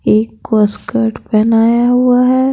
एक कोस्कट बनाया हुआ है।